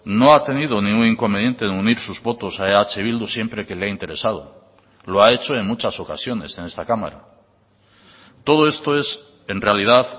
no ha tenido ningún inconveniente en unir sus votos a eh bildu siempre que le ha interesado lo ha hecho en muchas ocasiones en esta cámara todo esto es en realidad